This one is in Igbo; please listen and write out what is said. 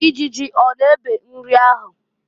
Ijiji ọ na ebe nri ahụ?